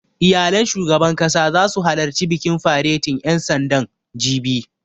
Iyalan shugaban ƙasa zasu halarci bikin faretin ƴan sandan, jibi